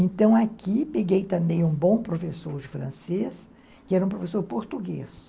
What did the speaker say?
Então, aqui, peguei também um bom professor de francês, que era um professor português.